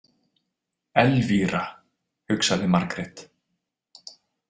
Elvíra, hugsaði Margrét.